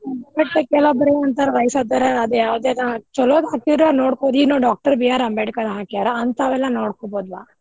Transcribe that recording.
ಮತ್ ಕೆಲವಬ್ರ ಏನ್ ಅಂತಾರ್ ವಯಸ್ಸಾದವ್ರ್ ಅದೆ ಯಾವ್ದರ ಚಲೋದ್ ಹಾಕಿದ್ರ ನೋಡ್ಬೊದ್ರಿ ರೀ. ನಾವ್ Doctor B.R ಅಂಬೇಡ್ಕರ್ ಹಾಕ್ಯಾರಾ ಹಂತಾವೆಲ್ಲ ನೋಡ್ಕೊಬೋದ್ಲಾ.